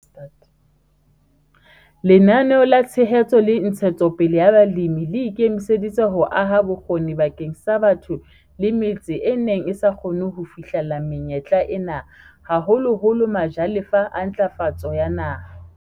Lenaneo la Tshehetso le Ntshetsopele ya Balemi le ikemiseditse ho aha bokgoni bakeng sa batho le metse e neng e sa kgone ho fihlella menyetla ena, haholoholo majalefa a Ntlafatso ya Naha.